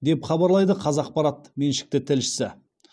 деп хабарлайды қазақпарат меншікті тілшісі